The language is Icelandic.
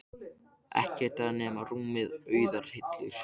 Ekkert þar nema rúmið og auðar hillur.